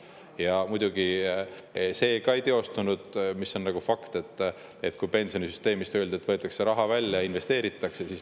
Ja muidugi see ka ei teostunud – see on fakt –, kui öeldi, et pensionisüsteemist võetakse raha välja ja investeeritakse.